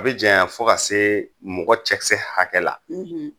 A bi janya fo ka se mɔgɔ cɛkisɛ hakɛ la